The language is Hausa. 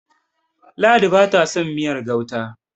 ladi ba ta son miyar gauta